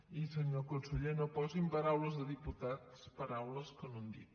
i senyor conseller no posi en boca de diputats paraules que no han dit